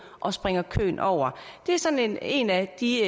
og springer køen over det er sådan en af de